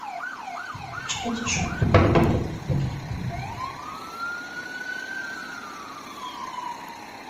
включай дежурный папа летний лагерь